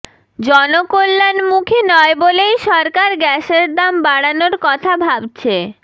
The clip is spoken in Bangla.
জনকল্যাণমুখী নয় বলেই সরকার গ্যাসের দাম বাড়ানোর কথা ভাবছে